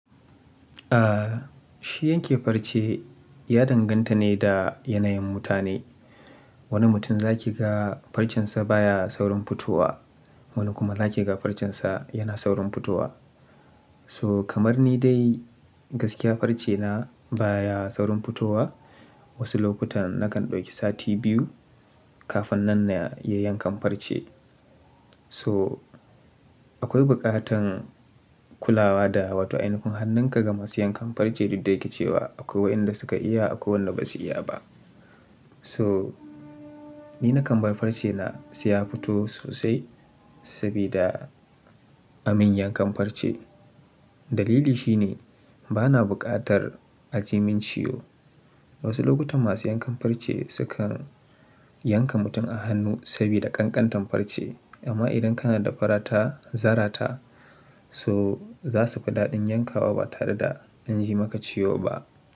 Ah, shi yanke farce ya danganta ne da yanayin mutane. Wani mutum za ki ga farcen sa baya saurin fitowa, wani kuma za ki ga farcen sa yana saurin fitowa. So kamar ni dai gaskiya farce na baya saurin fitowa. Wasu lokutan nakan ɗauki sati biyu kafin nan na iya yankan farce. So akwai buƙatan kulawa da wata ainafun hannun ka ga masu yankan farce duk da yake cewa akwai waɗanda suka iya akwai wanda ba su iya ba. So ni na kan bar farce na sai ya fito sosai sabida amin yankan farce. Dalili shi ne bana buƙatar a ji min ciwo. Wasu lokutan masu yankan farce sukan yanka mutum a hannu sabida ƙanƙantan farce. Amma idan kana da farata, zarata so za su fi daɗin yankawa ba tare da an ji maka ciwo ba.